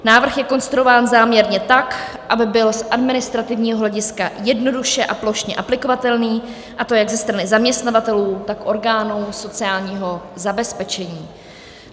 Návrh je konstruován záměrně tak, aby byl z administrativního hlediska jednoduše a plošně aplikovatelný, a to jak ze strany zaměstnavatelů, tak orgánů sociálního zabezpečení.